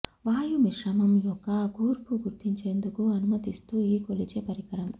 వాయు మిశ్రమం యొక్క కూర్పు గుర్తించేందుకు అనుమతిస్తూ ఈ కొలిచే పరికరం